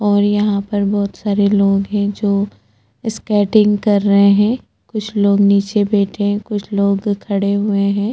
और यहाँ पर बहुत सारे लोग है जो स्केटिंग कर रहै है कुछ लोग निचे बैठे है कुछ लोग खड़े हुए है।